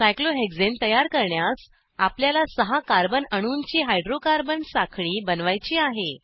सायक्लोहेक्साने तयार करण्यास आपल्याला सहा कार्बन अणूंची हायड्रोकार्बन साखळी बनवायची आहे